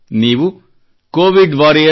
ನೀವು covidwarriors